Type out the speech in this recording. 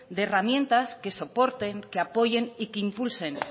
de herramientas que soporten que apoyen y que impulsen